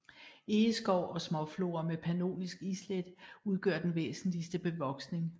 Egeskov og småflora med pannonisk islæt udgør den væsentligste bevoksning